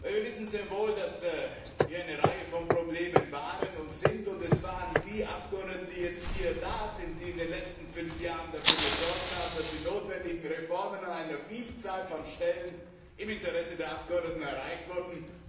Wir wissen sehr wohl, dass es hier eine Reihe von Problemen gab und gibt, und es waren die Abgeordneten, die jetzt hier sind, die in den letzten fünf Jahren dafür gesorgt haben, dass die notwendigen Reformen an einer Vielzahl von Stellen im Interesse der Abgeordneten erreicht wurden.